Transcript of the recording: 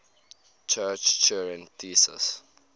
church turing thesis